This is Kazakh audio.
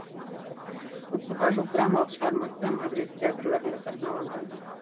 отызға жуық драмалық шығармасы мадрид театрларында сахналанған